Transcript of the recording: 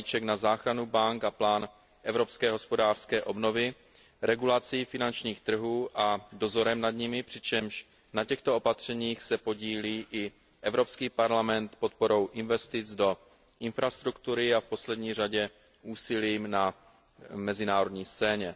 balíček na záchranu bank a plán evropské hospodářské obnovy, regulací finančních trhů a dozorem nad nimi, přičemž na těchto opatřeních se podílí i Evropský parlament podporou investic do infrastruktury, a v neposlední řadě úsilím na mezinárodní scéně.